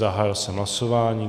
Zahájil jsem hlasování.